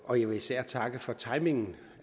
og jeg vil især takke for timingen